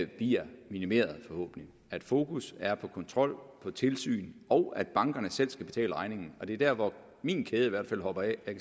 bliver minimeret at fokus er på kontrol og tilsyn og at bankerne selv skal betale regningen og det er der hvor min kæde i hvert fald hopper af jeg